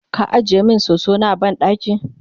ka ajiye min soso na a banɗaki?